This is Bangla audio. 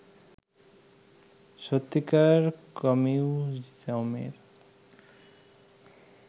সত্যিকার কমিউজমের